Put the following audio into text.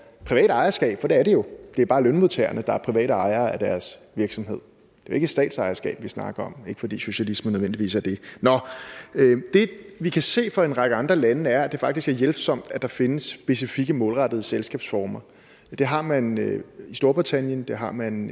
privat ejerskab for der er det jo det er bare lønmodtagerne der er private ejere af deres virksomhed det er ikke statsejerskab vi snakker om ikke fordi socialisme nødvendigvis er det nå det vi kan se fra en række andre lande er at det faktisk er hjælpsomt at der findes specifikke målrettede selskabsformer det har man i storbritannien det har man